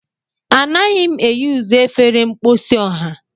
Anaghị m eyuzu efere mposi ọha.